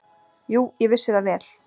"""Jú, ég vissi það vel."""